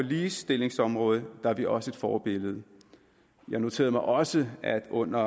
ligestillingsområdet er vi også et forbillede jeg noterede mig også at der under